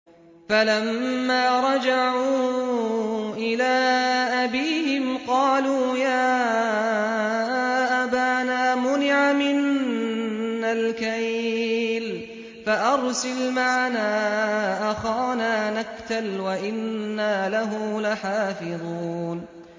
فَلَمَّا رَجَعُوا إِلَىٰ أَبِيهِمْ قَالُوا يَا أَبَانَا مُنِعَ مِنَّا الْكَيْلُ فَأَرْسِلْ مَعَنَا أَخَانَا نَكْتَلْ وَإِنَّا لَهُ لَحَافِظُونَ